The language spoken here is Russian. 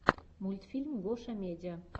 мультфильм гошамедиа